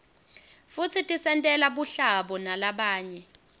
futsi tisentela buhlabo nalabanye